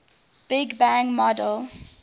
big bang model